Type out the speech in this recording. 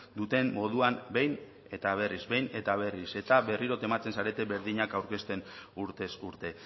duten moduan behin eta berriz behin eta berriz eta berriro tematzen zarete berdinak aurkezten urtez urte